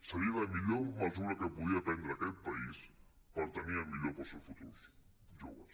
seria la millor mesura que podria prendre aquest país per tenir el millor per als seus futurs joves